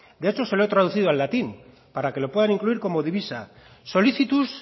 de hecho se lo he traducido al latín para que lo pueda incluir como divisa solicitus